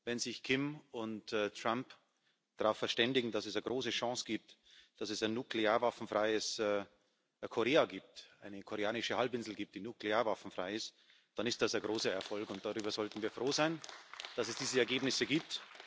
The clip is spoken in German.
Wenn sich Kim und Trump darauf verständigen, dass es eine große Chance für ein nuklearwaffenfreies Korea gibt, für eine koreanische Halbinsel, die nuklearwaffenfrei ist, dann ist das ein großer Erfolg, und wir sollten froh sein darüber, dass es diese Ergebnisse gibt.